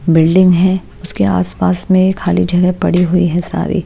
Building है उसके आस-पास में खाली जगह पड़ी हुई है सारी।